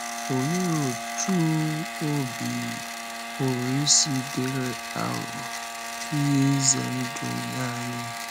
Olee otú ọ̀bì pụrụ isi dịrị aghụghọ — ihe ize ndụ nye anyị?